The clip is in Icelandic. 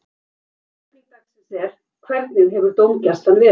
Fyrri spurning dagsins er: Hvernig hefur dómgæslan verið?